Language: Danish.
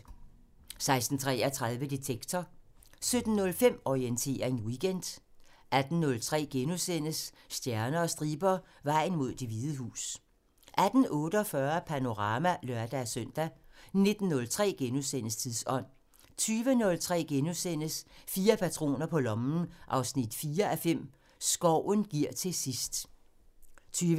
16:33: Detektor 17:05: Orientering Weekend 18:03: Stjerner og striber – Vejen mod Det Hvide Hus * 18:48: Panorama (lør-søn) 19:03: Tidsånd * 20:03: Fire patroner på lommen 4:5 – Skoven giver til sidst * 20:30: Bogselskabet * 21:03: Bagklog på P1 * 23:03: Orientering Weekend * 01:03: En hæslig jæger 4:5 – Løvindens drab *